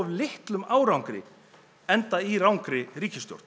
litlum árangri enda í rangri ríkisstjórn